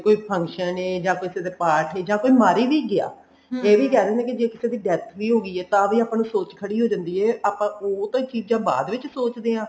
ਕੋਈ function ਐ ਜਾ ਕਿਸੇ ਦੇ ਪਾਠ ਐ ਜਾ ਕੋਈ ਮਰ ਵੀ ਗਿਆ ਇਹ ਵੀ ਕਹਿ ਦਿੰਦੇ ਨੇ ਜੇ ਕਿਸੇ ਦੀ death ਵੀ ਹੋ ਗਈ ਤਾਂ ਵੀ ਆਪਾਂ ਨੂੰ ਸੋਚ ਖੜੀ ਹੋ ਜਾਂਦੀ ਐ ਆਪਾਂ ਉਹ ਤਾਂ ਚੀਜਾਂ ਬਾਅਦ ਵਿੱਚ ਸੋਚਦੇ ਹਾਂ